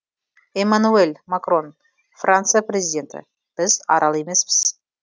эммануэль макрон франция президенті біз арал емеспіз